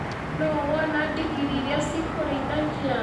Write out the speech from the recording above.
Nũ wona ndigiri irĩa ci kũrĩithagia.